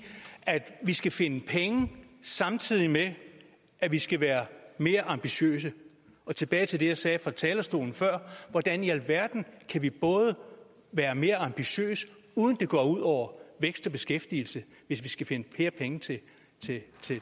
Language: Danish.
at vi skal finde penge samtidig med at vi skal være mere ambitiøse og tilbage til det jeg sagde fra talerstolen før hvordan i alverden kan vi være mere ambitiøse uden det går ud over vækst og beskæftigelse hvis vi skal finde flere penge til